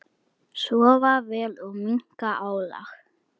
Sofa vel og minnka álag.